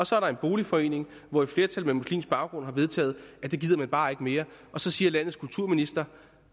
så er der en boligforening hvor et flertal med muslimsk baggrund har vedtaget at det gider man bare ikke mere og så siger landets kulturminister